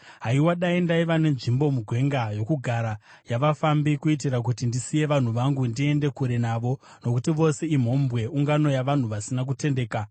Haiwa, dai ndaiva nenzvimbo mugwenga yokugara yavafambi, kuitira kuti ndisiye vanhu vangu ndiende kure navo; nokuti vose imhombwe, ungano yavanhu vasina kutendeka.